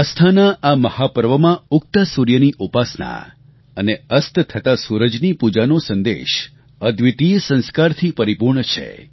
આસ્થાનાં આ મહાપર્વમાં ઉગતા સૂર્યની ઉપાસના અને અસ્ત થતા સૂરજની પૂજાનો સંદેશ અદ્વિતિય સંસ્કારથી પરિપૂર્ણ છે